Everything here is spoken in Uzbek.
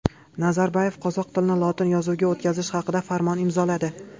Nazarboyev qozoq tilini lotin yozuviga o‘tkazish haqida farmon imzoladi.